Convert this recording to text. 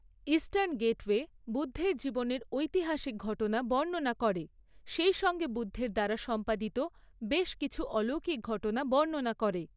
Eastern gateway বুদ্ধের জীবনের ঐতিহাসিক ঘটনা বর্ণনা করে, সেইসঙ্গে বুদ্ধের দ্বারা সম্পাদিত বেশ কিছু অলৌকিক ঘটনা বর্ণনা করে।